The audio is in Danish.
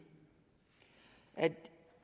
at